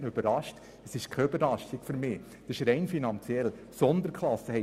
Für mich ist sie keine Überraschung, sondern hat finanzielle Gründe: